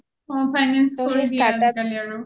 অ অ finance কৰি দিয়ে আজিকালি আৰু